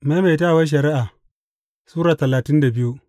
Maimaitawar Shari’a Sura talatin da biyu